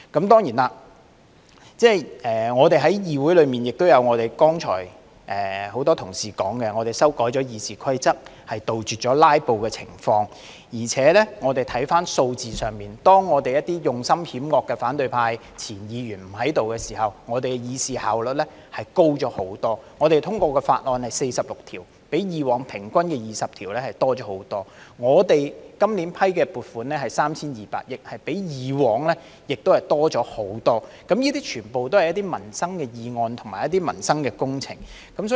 當然，我們在議會內亦有剛才多位同事提到的，我們修改了《議事規則》，杜絕"拉布"的情況；再看回數字，當一些用心險惡的反對派前議員不在時，我們的議事效率大幅提高，我們通過的法案有46項，比過往平均20項多出很多；我們今年批出的撥款是 3,200 億元，比過往亦多出很多，這些全部都是涉及民生的議案和工程項目。